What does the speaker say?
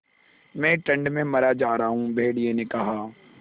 मैं ठंड में मरा जा रहा हूँ भेड़िये ने कहा